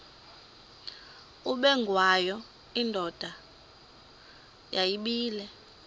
ubengwayo indoda yayibile